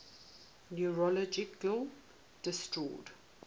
neurological disorders